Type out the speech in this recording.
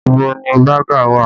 Ibo ni baga wà?